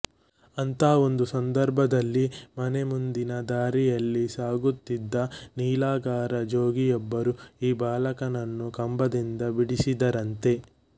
ಅಂಥ ಒಂದು ಸಂದರ್ಭದಲ್ಲಿ ಮನೆ ಮುಂದಿನ ದಾರಿಯಲ್ಲಿಸಾಗುತ್ತಿದ್ದ ನೀಲಗಾರ ಜೋಗಿಯೊಬ್ಬರು ಈ ಬಾಲಕನನ್ನು ಕಂಬದಿಂದ ಬಿಡಿಸಿದರಂತೆ